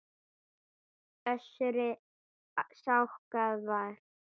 Össuri skákað fram.